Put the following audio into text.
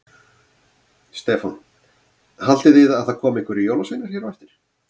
Stefán: Haldið þið að það komi einhverjir jólasveinar hér á eftir?